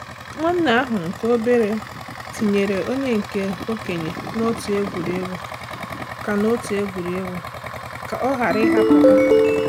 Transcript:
Nwanne ahụ nke obere tinyere onye nke okenye n'òtù egwuregwu ka n'òtù egwuregwu ka ọ ghara ịhapụ ha.